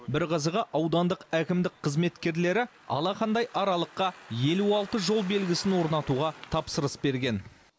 бір қызығы аудандық әкімдік қызметкерлері алақандай аралыққа елу алты жол белгісін орнатуға тапсырыс берген